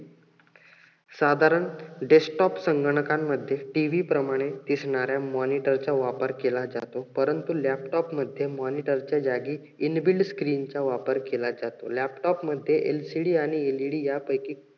साधारण desktop संगणकामध्ये TV प्रमाने दिसणाऱ्या monitor चा वापर केला जातो. परंतु laptop मध्ये monitor च्या जागी inbuilt screen चा वापर केला जातो. laptop मध्ये LCD आणि led यापैकी